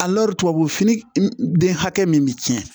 tubabu fini den hakɛ min bɛ tiɲɛ